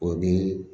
O di